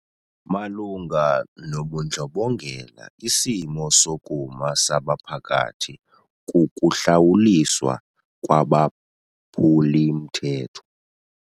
Malunga nobundlobongela isimo sokuma sabaphathi kukuhlawuliswa kwabaphuli-mthetho.